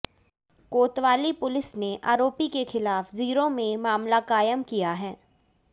कोतवाली पुलिस ने आरोपी के खिलाफ जीरो में मामला कायम किया है